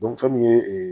fɛn min ye